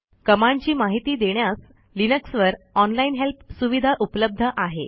कमांडची माहिती देण्यास लिनक्सवर ऑनलाईन हेल्प सुविधा उपलब्ध आहे